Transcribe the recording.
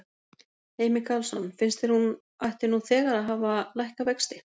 Heimir Karlsson: Finnst þér hún ætti nú þegar að hafa lækkað vexti?